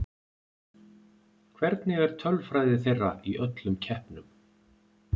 Hvernig er tölfræði þeirra í öllum keppnum?